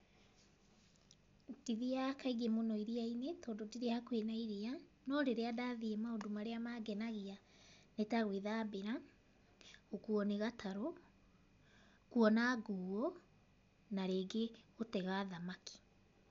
Ndithiaga kaingĩ mũno iria-inĩ, tondũ ndirĩ hakuhĩ na iria, no rĩrĩa ndathiĩ, maũndũ marĩa mangenagia nĩ ta gwĩthambĩra, gũkuo nĩ gatarũ, kuona nguũ na rĩngĩ gũtega thamaki.